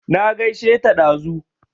Na gaishe ta dazu